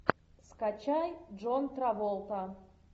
скачай джон траволта